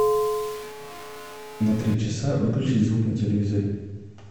на три часа выключить звук на телевизоре